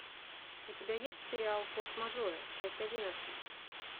у тебя есть сериал форс мажоры часть одиннадцать